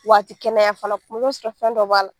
Wa a ti kɛnɛya fana kuma bɛ i b'a sɔrɔ fɛn dɔ b'a la.